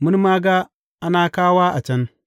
Mun ma ga Anakawa a can.’